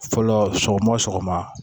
Fɔlɔ sɔgɔma o sɔgɔma